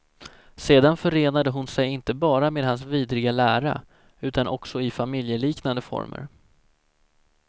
Sedan förenade hon sig inte bara med hans vidriga lära utan också i familjeliknande former.